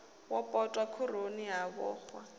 wo potwa khoroni ha vhoxwa